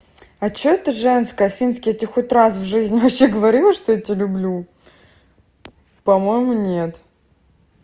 а что это женская финский я тебе хоть раз в жизни вообще говорила что я тебя люблю по-моему нет